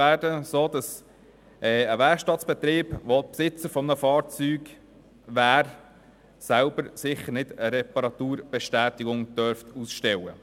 Es ist so, dass ein Werkstattbetrieb, der Besitzer eines Fahrzeugs ist, für dieses nicht selber eine Reparaturbestätigung ausstellen darf.